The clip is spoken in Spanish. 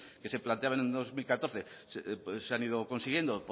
que se planteaban en dos mil catorce se han ido consiguiendo